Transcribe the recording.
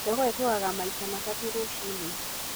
Jogoo ĩkũgaga maita matatũ rũciinĩ